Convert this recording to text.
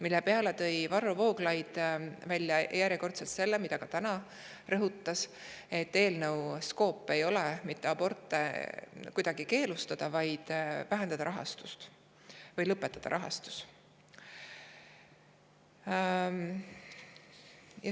Selle peale ütles Varro Vooglaid – ta rõhutas seda ka täna –, et eelnõu skoop ei ole sellel, et aborte kuidagi keelustada, vaid vähendada nende rahastust või lõpetada nende rahastamine.